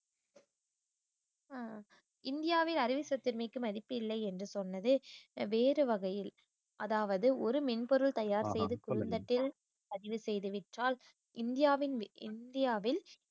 அஹ் இந்தியாவில் அறிவு சொத்துரிமைக்கு மதிப்பு இல்லை என்று சொன்னது வேறு வகையில் அதாவது ஒரு மென்பொருள் தயார் செய்து பதிவு செய்து விற்றால் இந்தியாவின் இந்தியாவில்